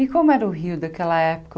E como era o Rio daquela